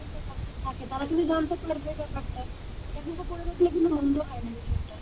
থাকে তারা কিন্তু জানতে পারবে ব্যাপারটা এটা কিন্তু করে দেখলে মন্দ হয় না বিষয়টা,